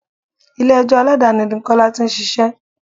Ilé ẹjọ́ Aládàáni ni Kọ́lá tí ń ṣíṣe.